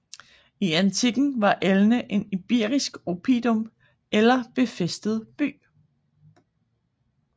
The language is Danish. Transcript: I antikken var Elne en iberisk oppidum eller befæstet by